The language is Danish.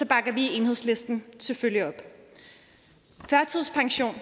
bakker vi i enhedslisten selvfølgelig op førtidspension